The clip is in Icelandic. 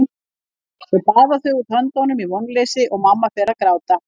Svo baða þau út höndunum í vonleysi og mamma fer að gráta.